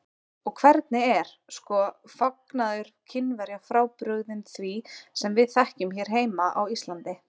Og hvernig er, sko, fagnaður Kínverja frábrugðinn því sem við þekkjum hérna heima á Íslandi?